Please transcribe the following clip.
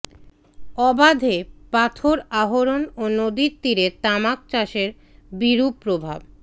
অবাধে পাথর আহরণ ও নদীর তীরে তামাক চাষের বিরূপ প্রভাব